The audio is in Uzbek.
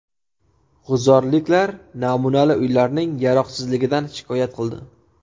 G‘uzorliklar namunali uylarning yaroqsizligidan shikoyat qildi.